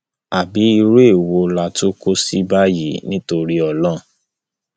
àbí irú èwo la tún kọ sí báyìí nítorí ọlọrun